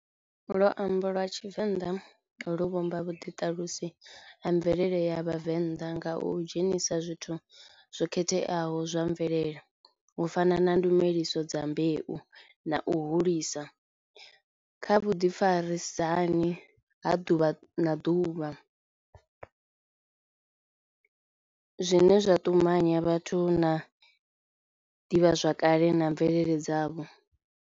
Luambo lwa tshivenḓa lu vhumba vhuḓi ṱalusi ha mvelele ya vhavenḓa nga u dzhenisa zwithu zwo khetheaho zwa mvelele u fana na ndumeliso dza mbeu, na u hulisa kha vhu ḓi farisa hani ha ḓuvha na ḓuvha zwine zwa tumanya vhathu na ḓivhazwakale na mvelele dzavho.